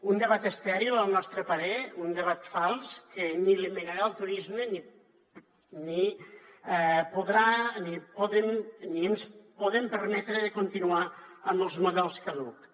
un debat estèril al nostre parer un debat fals que ni eliminarà el turisme ni ens podem permetre de continuar amb els models caducs